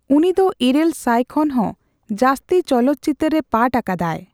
ᱩᱱᱤ ᱫᱚ ᱤᱨᱟᱹᱞ ᱥᱟᱭ ᱠᱷᱚᱱ ᱦᱚᱸ ᱡᱟᱹᱥᱛᱤ ᱪᱚᱞᱚᱛ ᱪᱤᱛᱟᱹᱨ ᱨᱮ ᱯᱟᱴᱷ ᱟᱠᱟᱫᱟᱭ ᱾